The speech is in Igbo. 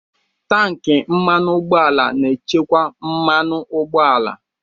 Tanki mmanụ ụgbọala na-echekwa mmanụ ụgbọala